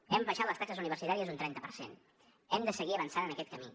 hem abaixat les taxes universitàries un trenta per cent hem de seguir avançant en aquest camí